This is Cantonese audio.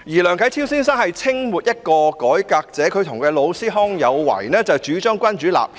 梁啟超先生是清末一名改革者，他與老師康有為主張君主立憲。